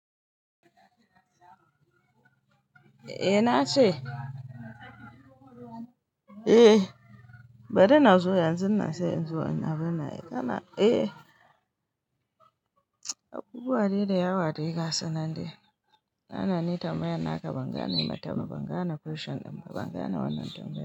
Eh na ce. Eh bari na zo yanzu na sai in zo ina abunnan. Eh abubuwa dai da yawa da ya gasa nan dai. Na na ni tamaya naka ban gane matama ban gane question din ba ban gane wannan tambayar.